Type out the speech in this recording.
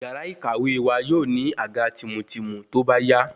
Yàrá ìkàwé wa yóò ní àga tìmùtìmù tóbá yá